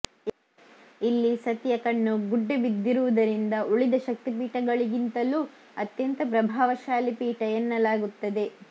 ಇಲ್ಲಿ ಸತಿಯ ಕಣ್ಣು ಗುಡ್ಡೆ ಬಿದ್ದಿರುವುದರಿಂದ ಉಳಿದ ಶಕ್ತಿಪೀಠಗಳಿಗಿಂತಲೂ ಅತ್ಯಂತ ಪ್ರಭಾವಶಾಲಿ ಪೀಠ ಎನ್ನಲಾಗುತ್ತದೆ